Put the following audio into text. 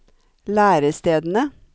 lærestedene